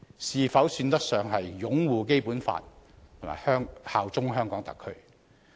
是否算得上擁護《基本法》和效忠香港特區？